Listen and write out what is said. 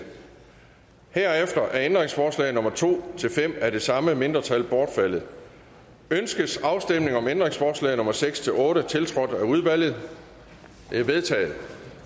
herefter er ændringsforslag nummer to fem af det samme mindretal bortfaldet ønskes afstemning om ændringsforslag nummer seks otte tiltrådt af udvalget de er vedtaget